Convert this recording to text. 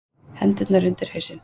Hendurnar undir hausinn.